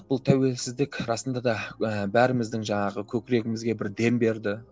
бұл тәуелсіздік расында да ы бәріміздің жаңағы көкірегімізге бір дем берді